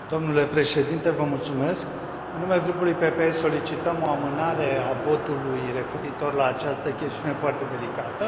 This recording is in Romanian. Domnule președinte, în numele Grupului PPE, solicităm o amânare a votului referitor la această chestiune foarte delicată.